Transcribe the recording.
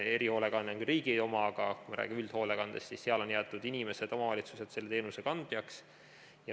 Erihoolekanne on küll riigi oma, aga me räägime üldhoolekandest, seal on jäetud inimesed ja omavalitsused selle teenuse kandjaks.